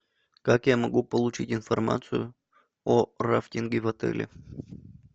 как я могу получить информацию о рафтинге в отеле